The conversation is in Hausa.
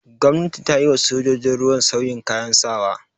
Gwamnati ta yi wa sojojin ruwa sauyin kayan sawa.